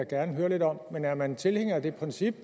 gerne høre lidt om men er man tilhænger af det princip